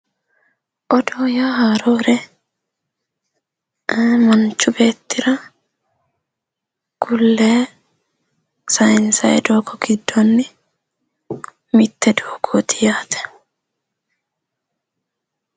Odoo yaa haarore, ii manchu beettira ku'layi sayinsanni doogo giddoni mite doogoti yaate .